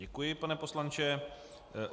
Děkuji, pane poslanče.